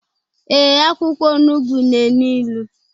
Ee, akwụkwọ onugbu na enu ilu